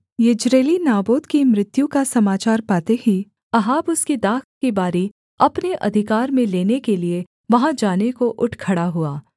यिज्रेली Naboth की मृत्यु का समाचार पाते ही अहाब उसकी दाख की बारी अपने अधिकार में लेने के लिये वहाँ जाने को उठ खड़ा हुआ